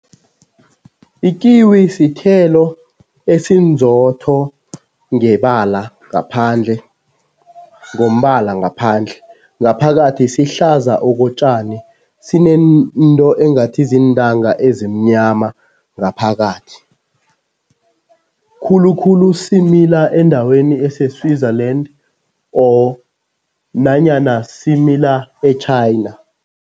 Ikiwi sithelo esinzotho ngebala ngaphandle, ngombala ngaphandle. Ngaphakathi sihlaza okotjani, sinento engathi ziintanga ezimnyama ngaphakathi. Khulukhulu simila endaweni ese-Switzerland siza or nanyana simila e-China.